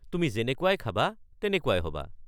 তুমি যেনেকুৱাই খাবা তেনেকুৱাই হ’বা।